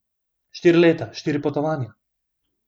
Štiri leta, štiri potovanja.